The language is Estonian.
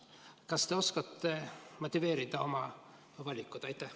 Kas te oskate motiveerida oma valikut?